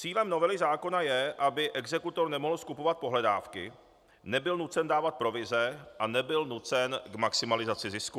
Cílem novely zákona je, aby exekutor nemohl skupovat pohledávky, nebyl nucen dávat provize a nebyl nucen k maximalizaci zisku.